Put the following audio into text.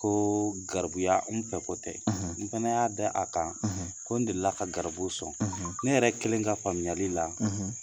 Ko garibuya n fɛko tɛ n fana y'a da a kan ko n dela ka garibuw sɔn, ne yɛrɛ kelen ka faamuyali la